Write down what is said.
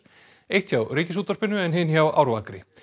eitt hjá Ríkisútvarpinu en hin hjá Árvakri